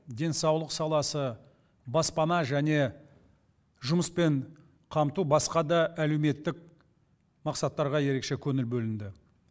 денсаулық саласы баспана және жұмыспен қамту басқа да әлеуметтік мақсаттарға ерекше көңіл бөлінді